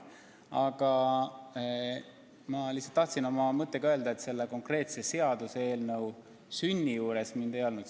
Aga ma lihtsalt tahtsin öelda, et selle konkreetse seaduseelnõu sünni juures mind ei olnud.